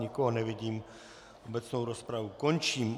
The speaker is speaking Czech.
Nikoho nevidím, obecnou rozpravu končím.